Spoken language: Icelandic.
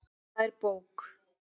Það er bók.